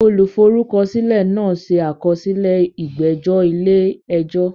Olùforúkọsílẹ̀ náà ṣe àkọsílẹ̀ ìgbẹ́jọ́ ilé ẹjọ́.